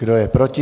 Kdo je proti?